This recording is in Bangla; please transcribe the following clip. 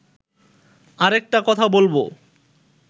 আরেকটা কথা বলব